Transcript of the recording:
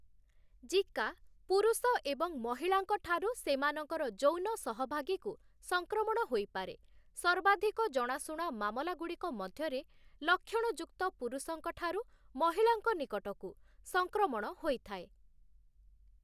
Zika ପୁରୁଷ ଏବଂ ମହିଳାଙ୍କ ଠାରୁ ସେମାନଙ୍କର ଯୌନ ସହଭାଗୀକୁ ସଂକ୍ରମଣ ହୋଇପାରେ, ସର୍ବାଧିକ ଜଣାଶୁଣା ମାମଲାଗୁଡ଼ିକ ମଧ୍ୟରେ ଲକ୍ଷଣଯୁକ୍ତପୁରୁଷଙ୍କ ଠାରୁ ମହିଳାଙ୍କ ନିକଟକୁ ସଂକ୍ରମଣ ହୋଇଥାଏ ।